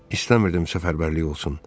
İstəmirdim səfərbərlik olsun.